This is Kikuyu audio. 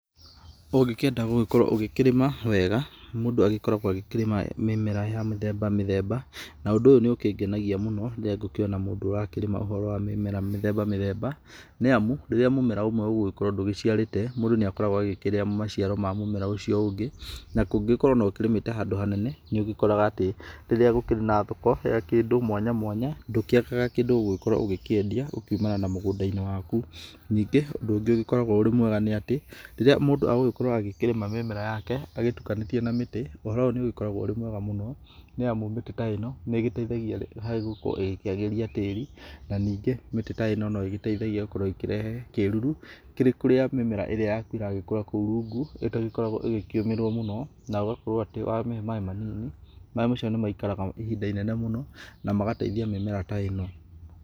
Ũngĩkĩenda gũgĩkorwo ũgĩkĩrĩma wega mũndũ agĩkoragwo akĩrĩma mĩmera ya mĩthemba mĩthemba na ũndũ ũyũ nĩũkĩngenagia mũno, rĩrĩa ngũkĩona mũndũ ũrakĩrĩma mĩmera mĩthemba mĩthemba, nĩamu rĩrĩa mũmera ũmwe ũgũgĩkorwo ndũgĩciarĩtwe mũndũ nĩakorwo akĩrĩa maciaro ma mũmera ũcio ũngĩ, ũngĩkorwo ũkĩrĩmĩte handũ hanene nĩũgĩkoraga atĩ rĩrĩa gũkĩrĩ na thoko ya kĩndũ mwanya mwanya, ndũkĩagaga kĩndũ Ũgũgĩkorwo ũkĩendia kumana na mũgũnda waku, ningĩ ũndũ ũngĩ ũgĩkoragwo ũrĩ mwega nĩ atĩ, rĩrĩa mũndũ agĩkorwo agĩkĩrĩma mĩmera yake agĩtukanĩtie na mĩtĩ, ũhoro ũyũ ũgĩkoragwo ũrĩ mwega mũno, nĩ amu mĩtĩ ta ĩno nĩteithagia harĩ gũkorwo ĩkĩagĩrithia tĩri na nĩngi mĩtĩ ta ĩno no ĩgĩteithagia gũkorwo ĩkĩrehe kĩruru kũrĩ mĩmera ĩrĩa yaku ĩragĩkũra kũu rũngũ ĩtagĩkoragwo ĩgĩkĩũmĩrwo mũno na ũgakorwo atĩ wamĩhe maĩ manini, maĩ macio nĩmaikaraga ihinda inene mũno na magateithia mĩmera ta ĩno.